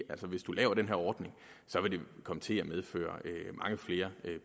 at hvis du laver den her ordning vil det komme til at medføre mange flere